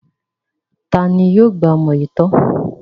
Ta ni yóò gba ọmọ yìí tọ́?